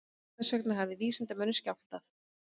Hvers vegna hafði vísindamönnunum skjátlast?